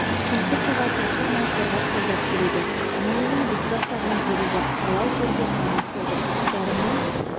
тұмсықтыға шоқтырмай қорғап қолдап келеді дүниенің біз баспаған жері жоқ талай төрде қонақ болдым жарымның